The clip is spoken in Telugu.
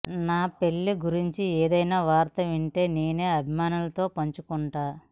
నా పెళ్లి గురించి ఏదైనా వార్త ఉంటే నేనే అభిమానులతో పంచుకుంటా